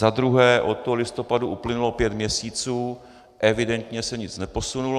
Za druhé, od toho listopadu uplynulo pět měsíců, evidentně se nic neposunulo.